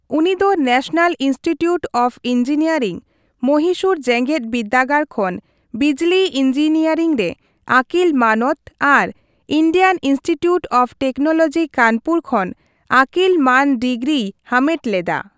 ᱩᱱᱤ ᱫᱚ national institute of engineering, Mysore ᱡᱮᱜᱮᱫ ᱵᱤᱨᱫᱟᱹᱜᱟᱲ ᱠᱷᱚᱱ ᱵᱤᱡᱽᱞᱤ ᱤᱧᱡᱤᱱᱤᱭᱟᱨᱤᱝ ᱨᱮ ᱟᱹᱠᱤᱞ ᱢᱟᱱᱚᱛ ᱟᱨ Indian institute of technology Kanpur ᱠᱷᱚᱱ ᱟᱹᱠᱤᱞ ᱢᱟᱹᱱ ᱰᱤᱜᱽᱨᱤᱭ ᱦᱟᱢᱮᱴ ᱞᱮᱫᱟ ᱾